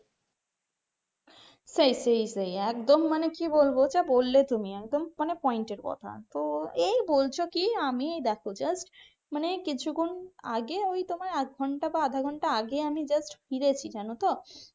সেই সেই সেই একদম মানে কি বলবো যা বললে তুমি একদম point এর কথা তো এই বলছো কি আমি দেখো just মানে কিছুক্ষণ আগে ওই তোমার আমি আধঘন্টা বা আধাঘন্টা আগে just ফিরেছি জানো তো.